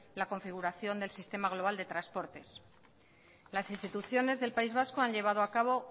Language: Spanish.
la configuración del sistema global de transportes las instituciones del país vasco han llevado a cabo